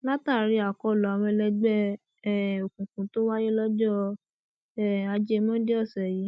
látàrí àkọlù àwọn ẹlẹgbẹ um òkùnkùn tó wáyé lọjọ um ajé monde ọsẹ yìí